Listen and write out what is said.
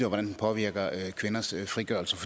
og hvordan den påvirker kvinders frigørelse